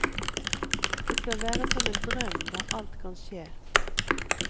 Det skal være som en drøm der alt kan skje.